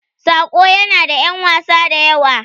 "Saƙo" yana da ƴan wasa da yawa.